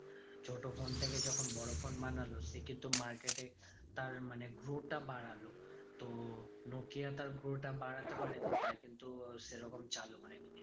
ছোট ফোন থেকে যখন বড় ফোন বানালো সে কিন্তু market এ তার মানে flow টা বাড়ালো। তো নোকিয়া তার flow টা বাড়াতে পারেনি তাই কিন্তু সেরকম চালু হয়নি।